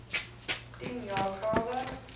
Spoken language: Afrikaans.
tien jaar geldig